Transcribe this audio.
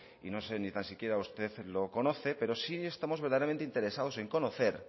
y no sé si tan siquiera usted lo conoce pero sí estamos verdaderamente interesados en conocer